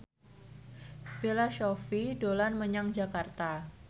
Bella Shofie dolan menyang Jakarta